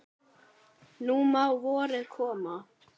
Nú má vorið koma.